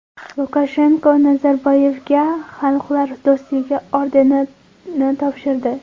Lukashenko Nazarboyevga Xalqlar do‘stligi ordenini topshirdi.